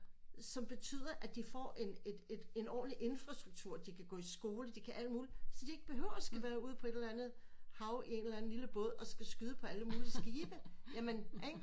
Så betyder at de får en et et et en ordenlig infrastruktur de kan gå i skole de kan alt muligt så de ikke behøver at skulle være ude på et eller andet hav i en eller anden lille båd og skulle skyde på alle mulige skibe jamen ikke